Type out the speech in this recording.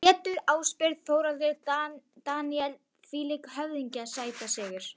Pétur Ásbjörn og Þórhallur Dan þvílíkir höfðingjar Sætasti sigurinn?